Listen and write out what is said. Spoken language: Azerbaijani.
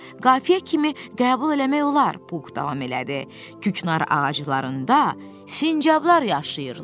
Qafiyə kimi qəbul eləmək olar, Pux davam elədi, Küknar ağaclarında sincablar yaşayırlar.